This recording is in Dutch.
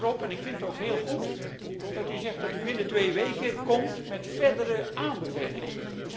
U wijst daarop en ik vind het ook heel goed dat u zegt dat u binnen twee weken komt met verdere aanbevelingen.